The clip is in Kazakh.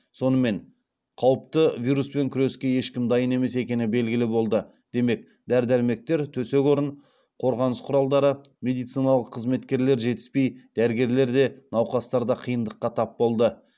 сонымен қауіпті вируспен күреске ешкім дайын емес екені белгілі болды демек дәрі дәрмектер төсек орын қорғаныс құралдары медициналық қызметкерлер жетіспей дәрігерлер де науқастарда қиындыққа тап болды